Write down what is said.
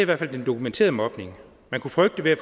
hvert fald den dokumenterede mobning man kunne frygte ved at